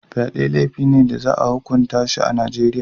Fyade laifi ne da za a hukunta shi a Najeriya.